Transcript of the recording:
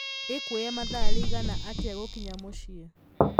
ĩkũoya mathaa riĩgana atĩa gũkinya mũciĩ